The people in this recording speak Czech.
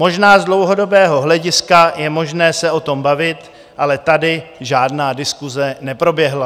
Možná z dlouhodobého hlediska je možné se o tom bavit, ale tady žádná diskuse neproběhla."